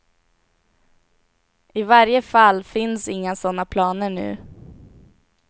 I varje fall finns inga sådana planer nu.